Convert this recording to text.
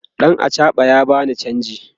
ɗan achaɓan ya bani chanji